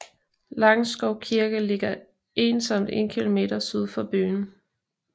Langskov Kirke ligger ensomt 1 km syd for byen